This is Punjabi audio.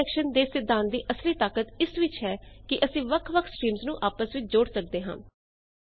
ਪਰ ਰੀਡਾਇਰੈਕਸ਼ਨ ਦੇ ਸਿੱਧਾੰਤ ਦੀ ਅਸਲੀ ਤਾਕਤ ਇਸ ਵਿੱਚ ਹੈ ਕਿ ਅਸੀ ਵੱਖ ਵੱਖ ਸਟ੍ਰੀਮਜ਼ ਨੂੰ ਆਪਸ ਵਿੱਚ ਜੋੜ ਸਕਦੇ ਹਾਂ